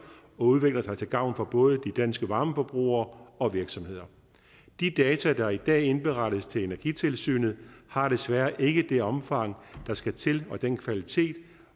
udvikler sig til gavn for både de danske varmeforbrugere og virksomheder de data der i dag indberettes til energitilsynet har desværre ikke det omfang der skal til og den kvalitet